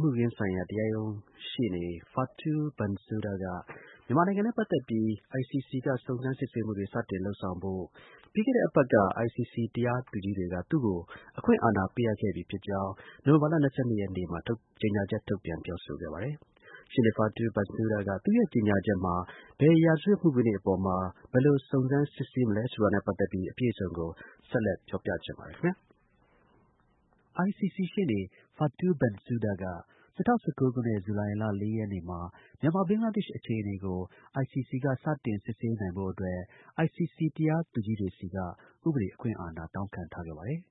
မှုခင်းဆိုင်ရာ တရားရုံး ရှေ့နေ Fatou Bensouda က မြန်မာနိုင်ငံနဲ့ ပတ်သက်ပြီး ICC က စုံစမ်းစစ်ဆေးမှုတွေ စတင်လုပ်ဆောင်ဖို့ ပြီးခဲ့တဲ့ အပတ်က ICC တရားသူကြီးတွေက သူ့ကိုအခွင့်အာဏာပေးအပ်ခဲ့ပြီဖြစ်ကြောင်း နိုဝင်ဘာလ ၂၂ ရက်နေ့မှာ ကြေညာချက်ထုတ်ပြန် ပြောဆိုခဲ့ပါတယ်။ ရှေ့နေ Fatou Bensouda က သူ့ရဲ့ ကြေညာချက်မှာ ဘယ် ရာဇဝတ်မှုခင်း တွေအပေါ်မှာ ဘယ်လို စုံစမ်း စစ်ဆေးမလဲဆိုတာနဲ့ ပတ်သက်ပြီး အပြည့်အစုံကို ကိုရဲမင်းထွန်းက ဆက်လက် ပြောပြမှာပါ။ ICC တရားရုံး ရှေ့နေ Fatou Bensouda က၂၀၁၉ ခုနှစ်၊ ဇူလိုင်လ ၄ ရက်နေ့မှာ မြန်မာ-ဘင်္ဂလားဒေ့ရှ်အခြေအနေကို ICC က စတင် စစ်ဆေးနိုင်ဖို့အတွက် ICC တရားသူကြီးတွေဆီက ဥပဒေ အခွင့်အာဏာ တောင်းခံထားခဲ့ဲ့တာဖြစ်ပါတယ်။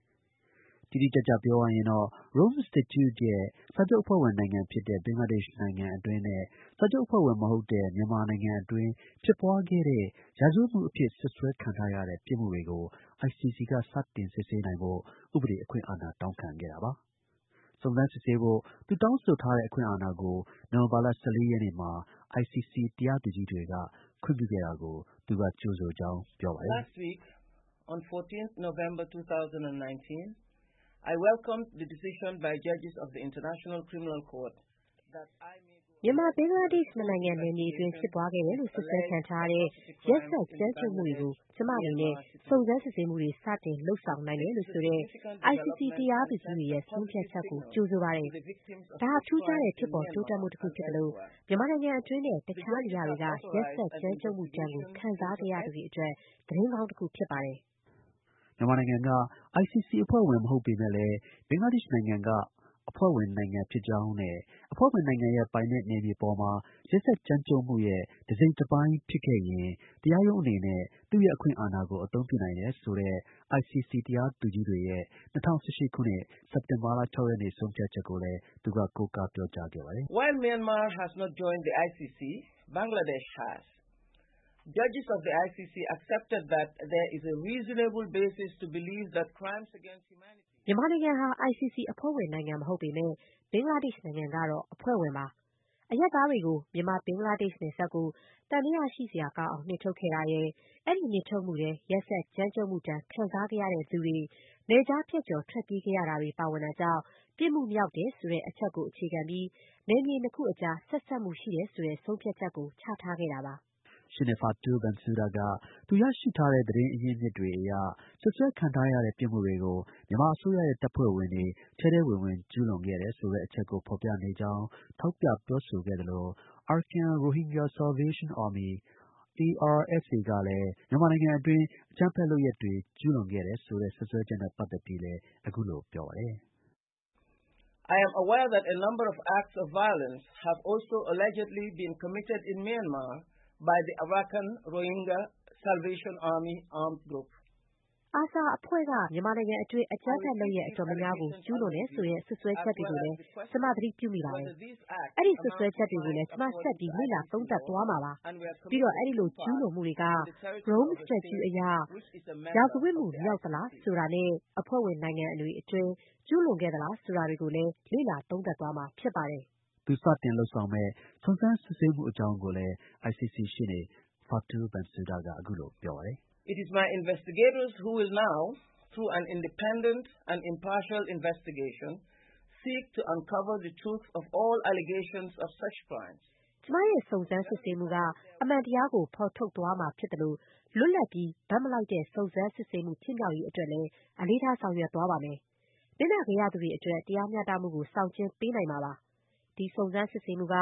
တိတိကျကျ ပြောရရင်တော့ Rome Statute ရဲ့ စာချုပ်အဖွဲ့ဝင် နိုင်ငံဖြစ်တဲ့ ဘင်္ဂလားဒေ့ရှ်နိုင်ငံ အတွင်းနဲ့ စာချုပ် အဖွဲ့ဝင် မဟုတ်တဲ့ မြန်မာ နိုင်ငံအတွင်း ဖြစ်ပွားခဲ့တဲ့ ရာဇဝတ်မှု အဖြစ် စွပ်စွဲခံထားရတဲ့ ပြစ်မှုတွေကို ICC က စတင် စစ်ဆေးနိုင်ဖို့ ဥ့ပဒေ အခွင့်အာဏာ တောင်းခံခဲ့ တာပါ။ စုံစမ်းစစ်ဆေးဖို့ သူတောင်းဆိုထားတဲ့ အခွင့်အာဏာကို နိုဝင်ဘာလ ၁၄ ရက်က ICC တရားသူကြီးတွေက ခွင့်ပြုခဲ့တာကို သူက ကြိုဆိုကြောင်း ပြောပါတယ်။ “မြန်မာ-ဘင်္ဂလားဒေ့ရှ် နှစ်နိုင်ငံ နယ်မြေအတွင်း ဖြစ်ပွားခဲ့တယ်လို့ စွပ်စွဲခံထားရတဲ့ ရက်စက်ကြမ်းကြုတ်မှုတွေကို ကျွန်မအနေနဲ့ စုံစမ်း စစ်ဆေးမှုတွေ စတင်လုပ်ဆောင်နိုင်တယ်လို့ဆိုတဲ့ ICC တရားသူကြီးတွေရဲ့ ဆုံးဖြတ်ချက်ကို ကြိုဆိုပါတယ်။ ဒါဟာ ထူးခြားတဲ့ ဖြစ်ပေါ် တိုးတက်မှု တစ်ခုဖြစ်သလို မြန်မာနိုင်ငံအတွင်းနဲ့ တခြားနေရာတွေက ရက်စက်ကြမ်းကြုတ်မှုဒဏ်ကို ခံစားခဲ့ရသူတွေအတွက် သတင်းကောင်း တစ်ခုဖြစ်ပါတယ်။” မြန်မာနိုင်ငံဟာ ICC အဖွဲ့ဝင် မဟုတ်ပေမဲ့လည်း ဘင်္ဂလားဒေ့ရှ်နိုင်ငံက အဖွဲ့ဝင်နိုင်ငံ ဖြစ်ကြောင်းနဲ့ အဖွဲ့ဝင်နိုင်ငံရဲ့ ပိုင်နက် နယ်မြေပေါ်မှာ ရက်စက်ကြမ်းကြုတ်မှုရဲ့ တစ်စိတ်တစ်ပိုင်း ဖြစ်ခဲ့ရင် တရာရုံးအနေနဲ့ သူ့ရဲ့ အခွင့်အာဏာကို အသုံးပြုနိုင်တယ်ဆိုတဲ့ ICC တရားသူကြီးတွေ ရဲ့ ၂၀၁၈ ခုနှစ် စက်တင်ဘာလ ၆ ရက်နေ့ ဆုံးဖြတ်ချက်ကိုလည်း သူက ကိုးကား ပြောကြားခဲ့ပါတယ်။ “မြန်မာနိုင်ငံက ICC အဖွဲ့ဝင်နိုင်ငံ မဟုတ်ပေမဲ့ ဘင်္ဂလားဒေ့ရှ်နိုင်ငံက အဖွဲ့ဝင်ပါ။ အရပ်သားတွေကို မြန်မာ- ဘင်္ဂလားဒေ့ရှ်နယ်စပ်ကို သံသယရှိဖွယ် နှင်ထုတ်ခဲ့တာရယ်၊ အဲဒီ နှင်ထုတ်မှုထဲ ရက်စက်ကြမ်းကြုတ်မှုဒဏ် ခံစားခဲ့ရသူတွေ နယ်ခြားဖြတ်ကျော် ထွက်ပြေးခဲ့ရတာ တွေ ပါဝင်တာကြောင့် ပြစ်မှုမြောက်တယ်ဆိုတဲ့ အချက်ကို အခြေခံပြီး နယ်မြေ နှစ်ခုအကြား ဆက်စပ်မှု ရှိတယ်ဆိုတဲ့ ဆုံးဖြတ်ချက်ကို ချထားခဲ့တာပါ။” ရှေ့နေ Fatou Bensouda က သူရထားတဲ့ သတင်းအရင်းအမြစ်တွေအရ စွပ်စွဲခံထားရတဲ့ ပြစ်မှုတွေကို မြန်မာအစိုးရရဲ့ တပ်ဖွဲ့ဝင်တွေ ထဲထဲဝင်ဝင် ကျူးလွန်တယ်ဆို တဲ့အချက်ကို ဖော်ပြနေကြောင်း ထောက်ပြပြောဆိုသလို Arkan Rohingya Salvation Army - ARSA ကလည်း မြန်မာနိုင်ငံအတွင်း အကြမ်းဖက် လုပ်ရပ်တွေ ကျူးလွန်ခဲ့တယ်ဆိုတဲ့ စွပ်စွဲချက်နဲ့ ပတ်သက်ပြီးလည်း အခုလို ပြောပါတယ်။ “ARSA အဖွဲ့က မြန်မာနိုင်ငံအတွင်း အကြမ်းဖက် လုပ်ရပ် တော်တော်များများကို ကျူးလွန်တယ်ဆိုတဲ့ စွပ်စွဲချက်တွေကိုလည်း ကျွန်မ သတိပြုမိပါတယ်။ အဲဒီ စွပ်စွဲချက်တွေကိုလည်း ကျွန်မ ဆက်ပြီး လေ့လာ သုံးသပ်သွားမှာဖြစ်ပါတယ်။ ပြီးတော့ အဲဒီလို ကျူးလွန်မှုတွေက Rome Statute အရ ရာဇဝတ်မှု မြောက်သလားဆိုတာနဲ့ အဖွဲ့ဝင်နိုင်ငံအတွင်း ကျူးလွန်ခဲ့သလား ဆိုတာတွေကိုလည်း လေ့လာ သုံးသပ်သွားမှာ ဖြစ်ပါတယ်။” သူ စတင်လုပ်ဆောင်မယ့် စုံစမ်း စစ်ဆေးမှုအကြောင်းကိုလည်း ICC ရှေ့နေ Fatou Bensouda က အခုလို ပြောပါတယ်။ “ကျွန်မရဲ့ စုံစမ်း စစ်ဆေးမှုက အမှန်တရားကို ဖော်ထုတ်သွားမှာ ဖြစ်သလို လွတ်လပ်ပြီး ဘက်မလိုက်တဲ့ စုံစမ်းစစ်ဆေးမှု ဖြစ်မြောက်ရေး အတွက်လည်း အလေးထား ဆောင်ရွက်သွားပါမယ်။ နစ်နာခဲ့ရသူတွေအတွက် တရားမျှတမှုကို ဆောင်ကျဉ်းပေးမှာ ဖြစ်ပါတယ်။ ဒီစုံစမ်း စစ်ဆေးမှုက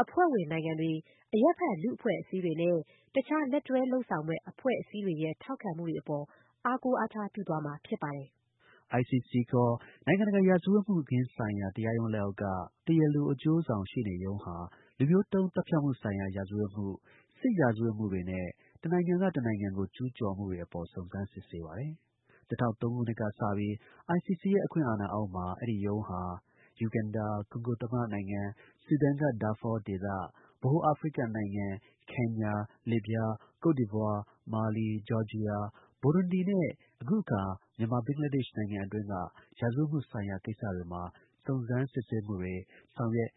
အဖွဲ့ဝင်နိုင်ငံတွေ၊ အရပ်ဖက် လူ့အဖွဲ့အစည်းတွေနဲ့ တခြား လက်တွဲလုပ်ဆောင်မယ့် အဖွဲ့အစည်းတွေရဲ့ ထောက်ခံမှု တွေအပေါ် အားကိုးအားထား ပြုသွားမှာ ဖြစ်ပါတယ်။ ICC (ခေါ်) နိုင်ငံတကာ ရာဇဝတ်မှုခင်းဆိုင်ရာ တရားရုံးလက်အောက်က တရားလို အကျိုးဆောင် ရှေ့နေရုံးဟာ လူမျိုးတုန်း သတ်ဖြတ်မှု ဆိုင်ရာ ရာဇဝတ်မှု၊ စစ်ရာဇဝတ်မှုတွေနဲ့ တစ်နိုင်ငံက တစ်နိုင်ငံကို ကျူးကျော်မှုတွေ အပေါ် စုံစမ်းစစ်ဆေးပါတယ်။ ၂၀၀၃ နှစ်က စပြီး ICC ရဲ့ အခွင့်အာဏာအောက်မှာ အဲဒီ ရုံးဟာ ယူဂန်ဒါ၊ ကွန်ဂို သမ္မတနိုင်ငံ၊ ဆူဒန်က ဒါဖော ဒေသ၊ ဗဟို အာဖရိကနိုင်ငံ၊ ကင်ညာ၊ လစ်ဗျား၊ ကုဒ်ဒီဗွား၊ မာလီ၊ ဂျော်ဂျီယာ၊ ဘူရွန်ဒီနဲ့ အခုအခါ မြန်မာ-ဘင်္ဂလားဒေ့ရှ် နိုင်ငံအတွင်းက ရာဇဝတ်မှုဆိုင်ရာ ကိစ္စတွေမှာ စုံစမ်း စစ်ဆေးမှုတွေ ဆောင်ရွက်